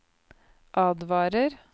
advarer